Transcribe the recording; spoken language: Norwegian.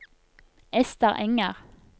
Ester Enger